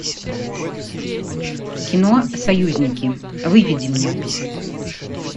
кино союзники выведи мне